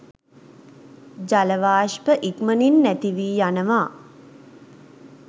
ජල වාෂ්ප ඉක්මනින් නැතිවී යනවා.